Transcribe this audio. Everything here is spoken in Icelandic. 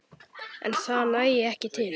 En það nægi ekki til.